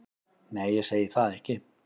Nei, ég segi það ekki.